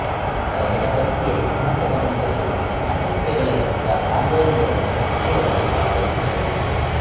ನಂತರ ಎಡಪಂಥೀಯ ಸಿದ್ಧಾಂತವನ್ನು ತೊರೆದು ಅಣ್ವಸ್ತ್ರಗಳ ವಿರುದ್ಧ ಆಂದೋಲನದಲ್ಲಿ ಸಕ್ರಿಯವಾಗಿ ಭಾಗವಹಿಸಿದ್ದರು